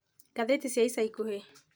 ngathĩti cia ica ikuhĩ